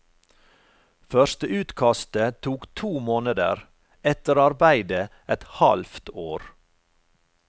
Førsteutkastet tok to måneder, etterarbeidet et halvt år.